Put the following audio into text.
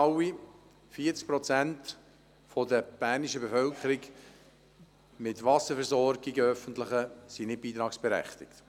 40 Prozent der bernischen Bevölkerung mit öffentlichen Wasserversorgungen sind nicht beitragsberechtigt.